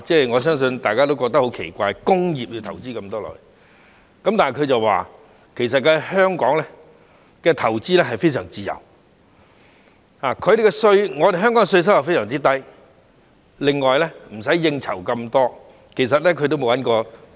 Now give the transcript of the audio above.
我相信大家也會覺得很奇怪，他竟然會在工業投資這麼多，但他說在香港投資非常自由，而且稅收非常低，亦無需應酬這麼多。